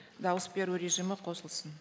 дауыс беру режимі қосылсын